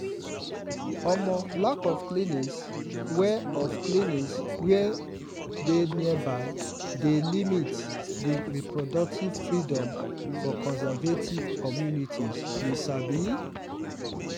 omo lack of clinics wey of clinics wey dey nearby dey limit di reproductive freedom for conservative communities you sabi.